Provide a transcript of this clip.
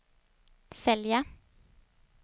sälja